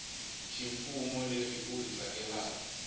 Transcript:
ximfumo leri u ri tsakelaka